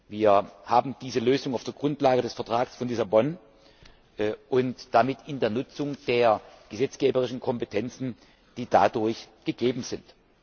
Wir haben diese Lösung auf der Grundlage des Vertrags von Lissabon und damit in der Nutzung der gesetzgeberischen Kompetenzen erreicht, die dadurch gegeben sind.